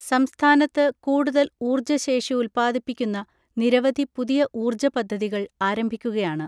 സംസ്ഥാനത്ത് കൂടുതൽ ഊർജ്ജ ശേഷി ഉൽപ്പാദിപ്പിക്കുന്ന നിരവധി പുതിയ ഊർജ്ജ പദ്ധതികൾ ആരംഭിക്കുകയാണ്.